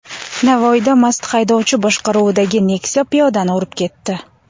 Navoiyda mast haydovchi boshqaruvidagi Nexia piyodani urib ketdi.